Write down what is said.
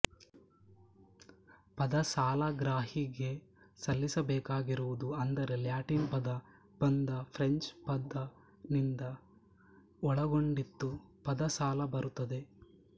ಪದ ಸಾಲಗ್ರಾಹಿಗೆ ಸಲ್ಲಿಸಬೇಕಾಗಿರುವುದು ಅಂದರೆ ಲ್ಯಾಟಿನ್ ಪದ ಬಂದ ಫ್ರೆಂಚ್ ಪದ ನಿಂದ ಒಳಗೊಂಡಿತ್ತು ಪದ ಸಾಲ ಬರುತ್ತದೆ